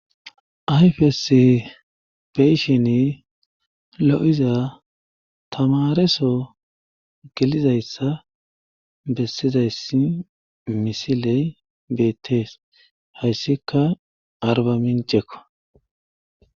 Ayfess beyshini lo'iza tamareso gelizayssa bessizayssi misiley beettees hayssika arba mincekko.